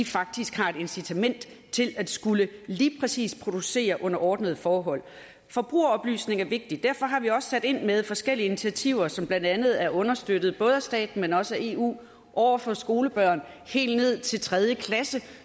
faktisk har et incitament til at skulle lige præcis producere under ordnede forhold forbrugeroplysning er vigtig og derfor har vi også sat ind med forskellige initiativer som blandt andet er understøttet både af staten men også af eu over for skolebørn helt ned til tredje klasse